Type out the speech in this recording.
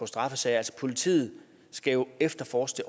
straffesager altså politiet skal jo efterforske